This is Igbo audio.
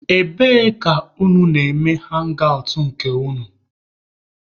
Ebee ka unu na-eme hangị awtụ nke unu?